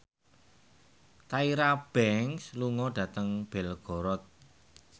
Tyra Banks lunga dhateng Belgorod